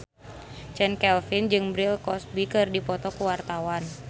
Chand Kelvin jeung Bill Cosby keur dipoto ku wartawan